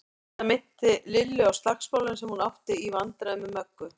Þetta minnti Lillu á slagsmálin sem hún átti í vændum með Möggu.